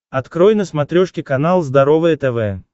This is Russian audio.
открой на смотрешке канал здоровое тв